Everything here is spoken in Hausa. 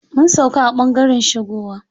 Mun sauƙa a ɓangaren shigowa.